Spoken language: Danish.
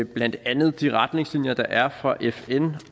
blandt andet de retningslinjer der er for fn